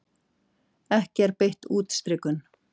Ekki er beitt útstrikun.